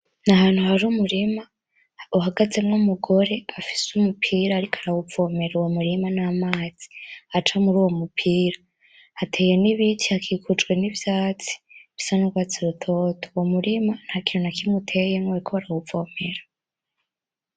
N'ahantu hari umurima uhagazemwo umugore afise umupira ariko arawuvomera uwo murima namazi aca muruwo mupira. Hateyemwo ibiti hakikujewe nivyatsi bisa nubwatsi butoto. Uwo murima ntakintu nakimwe utewemwo bariko barawuvomera.